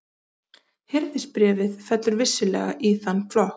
Hirðisbréfið fellur vissulega í þann flokk.